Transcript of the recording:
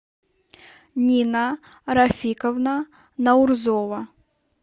нина рафиковна наурзова